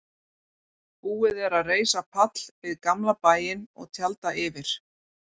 Búið er að reisa pall við gamla bæinn og tjalda yfir.